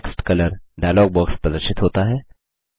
text colour dialog box प्रदर्शित होता है